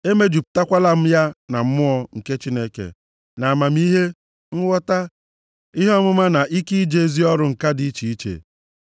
emejupụtakwala m ya na Mmụọ nke Chineke, nʼamamihe, nghọta, ihe ọmụma na ike ije ozi ọrụ ǹka dị iche iche,